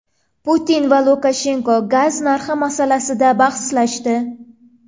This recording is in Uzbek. Putin va Lukashenko gaz narxi masalasida bahslashdi.